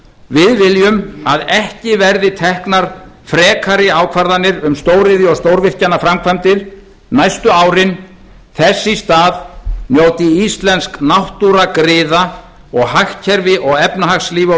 við viljum að ekki verði teknar frekari ákvarðanir um stóriðju og stórvirkjanaframkvæmdir næstu árin þess í stað njóti íslensk náttúra griða og hagkerfi og efnahagslíf og